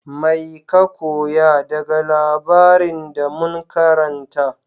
Mai ka koya daga labarin da mun karanta?